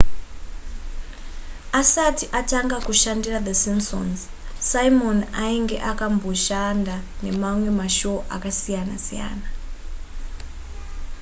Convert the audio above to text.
asati atanga kushandira the simpsons simon ainge amboshanda nemamwe mashow akasiyana siyana